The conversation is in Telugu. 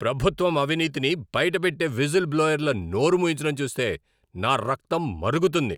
ప్రభుత్వం అవినీతిని బయట పెట్టే విజిల్ బ్లోయర్ల నోరు మూయించడం చూస్తే నా రక్తం మరుగుతుంది.